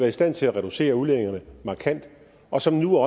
i stand til at reducere udledningerne markant og som nu